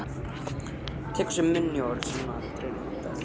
Tekur sér í munn orð sem hún hefur aldrei notað.